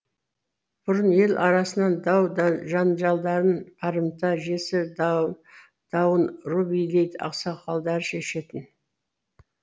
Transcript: бұрын ел арасының дау жанжалдарын барымта жесір дауын ру билері ақсақалдары шешетін